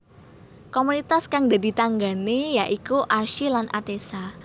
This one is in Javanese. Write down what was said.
Komunitas kang dadi tanggané ya iku Archi lan Atessa